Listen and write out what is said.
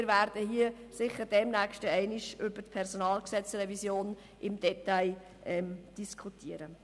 Wir werden hier sicher demnächst im Detail über die Revision des Personalgesetzes vom 16. September 2004 (PG) diskutieren.